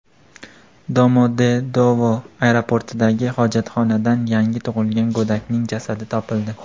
Domodedovo aeroportidagi hojatxonadan yangi tug‘ilgan go‘dakning jasadi topildi.